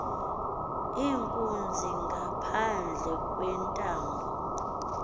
inkunzi ngaphandle kwentambo